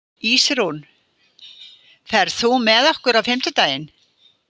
Ísrún, ferð þú með okkur á fimmtudaginn?